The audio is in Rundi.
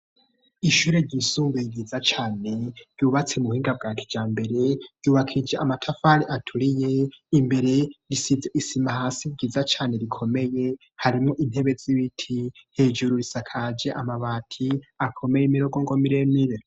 Ishure ry'intango ryubatse mu buhinga bwa kija mbere ryubakiye ija amatafare aturiye impande yaho hariho isima nziza cane isaka jamabati meza cane imbere hariho rupapuro rumanitse rwanditseko ibiharuro mu ndome no mu majambo.